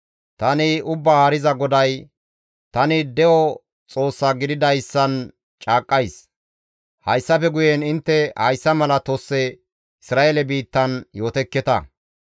«Tani Ubbaa Haariza GODAY! Tani de7o Xoossa gididayssan caaqqays: hayssafe guyen intte hayssa mala tosse Isra7eele biittan yootekketa.